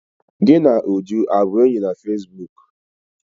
Gị na Uju abụ enyi na fesibuuku?